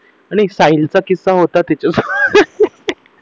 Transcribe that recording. आणि साहिलचा किस्सा होता तिच्यासोबत